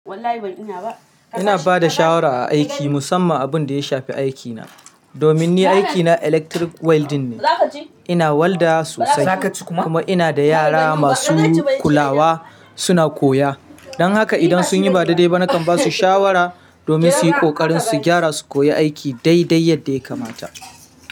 Ina bada shawara a aiki musamman abun da ya shafi aikina. Domin ni aikina electric welding ne, ina walda sosai kuma ina da yara masu kulawa suna koya. Don haka idan sun yi ba daidai ba nakan ba su shawara domin su yi ƙoƙarin su gyara su koyi aiki dai dai yadda ya kamata.